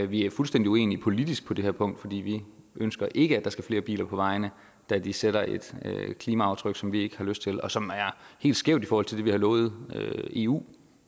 vi er fuldstændig uenige politisk på det her punkt fordi vi ønsker ikke at der skal flere biler på vejene da de sætter et klimaaftryk som vi ikke har lyst til og som er helt skævt i forhold til det vi har lovet eu